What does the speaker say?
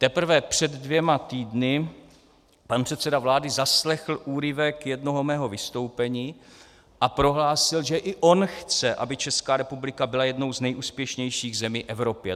Teprve před dvěma týdny pan předseda vlády zaslechl úryvek jednoho mého vystoupení a prohlásil, že i on chce, aby Česká republika byla jednou z nejúspěšnějších zemí Evropy.